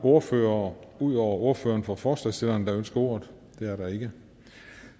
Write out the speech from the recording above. ordførere ud over ordføreren for forslagsstillerne der ønsker ordet det er der ikke